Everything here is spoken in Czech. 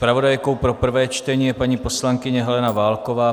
Zpravodajkou pro prvé čtení je paní poslankyně Helena Válková.